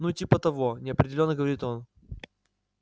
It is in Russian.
ну типа того неопределённо говорит он